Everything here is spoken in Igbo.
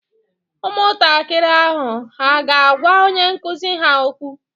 Ụmụntakịrị ahụ hà ga-agwa onye nkụzi ha okwu?